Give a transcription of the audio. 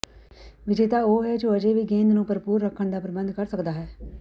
ਵਿਜੇਤਾ ਉਹ ਹੈ ਜੋ ਅਜੇ ਵੀ ਗੇਂਦ ਨੂੰ ਭਰਪੂਰ ਰੱਖਣ ਦਾ ਪ੍ਰਬੰਧ ਕਰਦਾ ਹੈ